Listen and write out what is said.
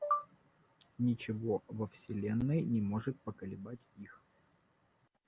ничего во вселенной не может поколебать их